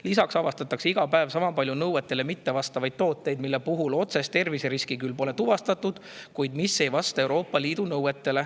Lisaks avastatakse iga päev sama palju Euroopa Liidu nõuetele mittevastavaid tooteid, mille puhul otsest terviseriski pole küll tuvastatud.